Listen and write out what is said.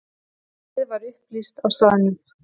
Málið var upplýst á staðnum.